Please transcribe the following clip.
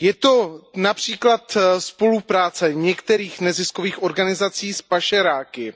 Je to například spolupráce některých neziskových organizací s pašeráky,